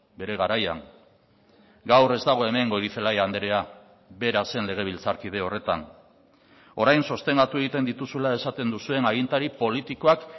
bere garaian gaur ez dago hemen goirizelaia andrea bera zen legebiltzarkide horretan orain sostengatu egiten dituzula esaten duzuen agintari politikoak